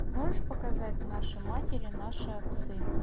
можешь показать наши матери наши отцы